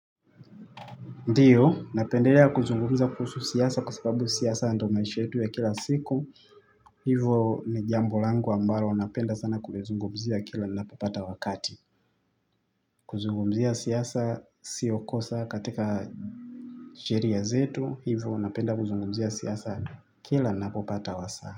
Ndiyo, napendelea kuzungumza kuhusu siasa kwa sababu siasa ando maisha yetu ya kila siku. Hivo ni jambo langu ambalo napenda sana kulozungumzia kila ninapopata wakati. Kuzungumzia siasa sio kosa katika sheria zetu. Hivo napenda kuzungumzia siasa kila napopata wasaa.